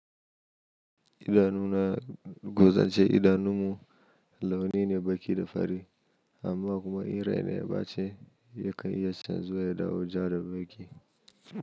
Idanuna, gozance idanunmu launi ne baki da fari amma kuma in rai na ya bace yakan iya canzuwa ya dawo ja da baki.